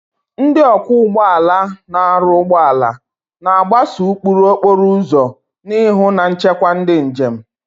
Ndị ọkwọ ụgbọ ala na-arụ ụgbọ ala, na-agbaso ụkpụrụ okporo ụzọ na ịhụ na nchekwa ndị njem.